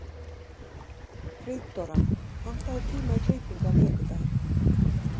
Friðdóra, pantaðu tíma í klippingu á miðvikudaginn.